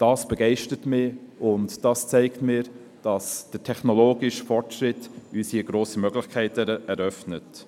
Dies begeistert mich, und es zeigt mir, dass der technologische Fortschritt uns grosse Möglichkeiten eröffnet.